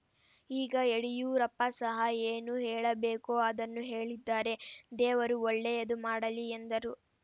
ಈಗ ಯಡಿಯೂರಪ್ಪ ಸಹ ಏನು ಹೇಳಬೇಕೋ ಅದನ್ನು ಹೇಳಿದ್ದಾರೆ ದೇವರು ಒಳ್ಳೆಯದು ಮಾಡಲಿ ಎಂದರು